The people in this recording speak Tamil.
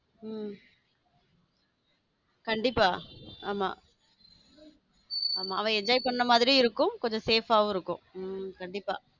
உம் கண்டிப்பா ஆமா ஆமா அவ enjoy பண்ற மாதிரி இருக்கும் கொஞ்சம் safe இருக்கும் உம் கண்டிப்பா.